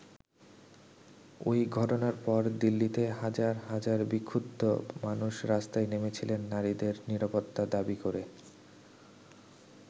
ওই ঘটনার পর দিল্লিতে হাজার হাজার বিক্ষুব্ধ মানুষ রাস্তায় নেমেছিলেন নারীদের নিরাপত্তা দাবি করে।